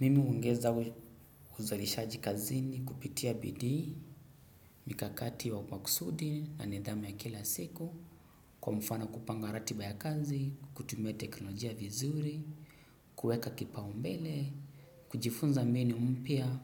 Mimi huongeza uzalishaji kazini kupitia bidii mikakati wa kwa kusudi na nidhamu ya kila siku kwa mfano kupanga ratiba ya kazi, kutumia teknolojia vizuri, kueka kipaumbele, kujifunza mbinu mpya,